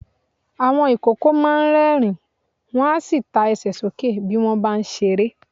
Àwọn ìkókó máa ń rẹ́ẹ̀rín, wọn a sì ta Ẹsẹ̀ sókè bí wọ́n bá ń ṣeré.